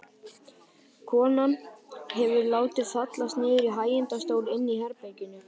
Konan hefur látið fallast niður í hægindastól inni í herberginu.